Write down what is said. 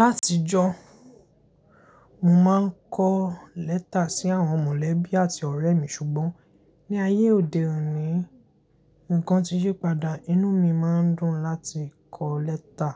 Látijọ́, mo máa ń kọ lẹ́tà sí àwọn mọ̀lẹ́bí àti ọ̀rẹ́ mí ṣùgbọ́n ní ayé òde òní, ǹkan ti yípadà. Inú mi máa ń dùn láti kọ lẹ́tà